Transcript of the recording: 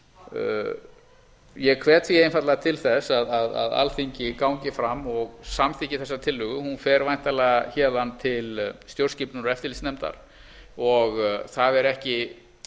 og ég hvet því einfaldlega til þess að alþingi gangi fram og samþykki þessa tillögu hún fer væntanlega héðan til stjórnskipunar og eftirlitsnefndar og það er ekki